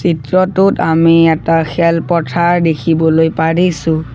চিত্ৰটোত আমি এটা খেল পথাৰ দেখিবলৈ পাৰিছোঁ।